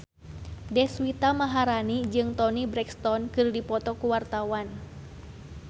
Deswita Maharani jeung Toni Brexton keur dipoto ku wartawan